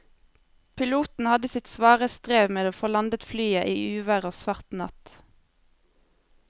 Piloten hadde sitt svare strev med å få landet flyet i uvær og svart natt.